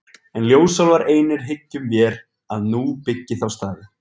En ljósálfar einir hyggjum vér að nú byggi þá staði.